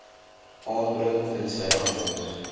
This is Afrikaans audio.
aanbring tensy anders